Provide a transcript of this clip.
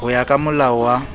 ho ya ka molao wa